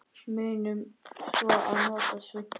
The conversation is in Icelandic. Munum svo að nota svuntu.